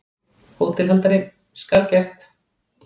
HÓTELHALDARI: Skal gert.